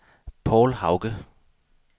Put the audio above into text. Povl Hauge